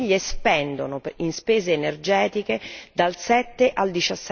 le famiglie spendono in spese energetiche dal 7 al